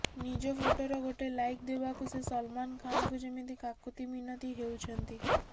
ନିଜ ଫୋଟୋର ଗୋଟେ ଲାଇକ ଦେବାକୁ ସେ ସଲମନ ଖାନଙ୍କୁ ଯେମିତି କାକୁତି ମିନତୀ ହେଉଛନ୍ତି